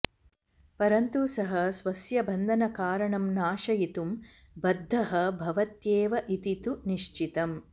परन्तु सः स्वस्य बन्धनकारणं नाशयितुं बद्धः भवत्येव इति तु निश्चितम्